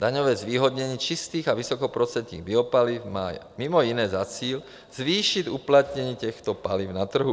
Daňové zvýhodnění čistých a vysokoprocentních biopaliv má mimo jiné za cíl zvýšit uplatnění těchto paliv na trhu.